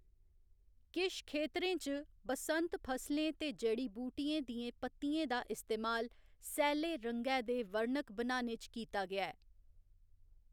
किश खेतरें च, बसंत फसलें ते जड़ी बूटियें दियें पत्तियें दा इस्तेमाल सैल्ले रंगै दे वर्णक बनाने च कीता गेआ ऐ।